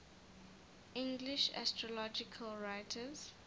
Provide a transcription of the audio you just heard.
english astrological writers